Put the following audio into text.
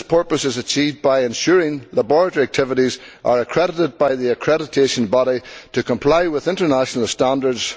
This purpose is achieved by ensuring that laboratory activities are accredited by the accreditation body to comply with international standards.